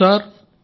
అవును సార్